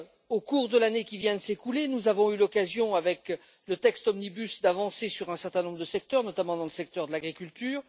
Au cours de l'année qui vient de s'écouler, nous avons eu l'occasion, avec le texte omnibus, d'avancer sur un certain nombre de secteurs, notamment celui de l'agriculture.